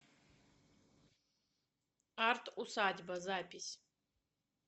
арт усадьба запись